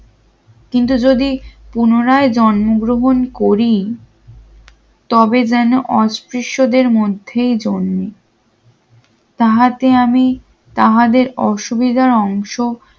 কিন্তু যদি পুনরায় জন্মগ্রহণ করি তবে যেন অস্পৃশ্যদের মধ্যেই জন্ম তাতে আমি তাহাদের অসুবিধা অংশ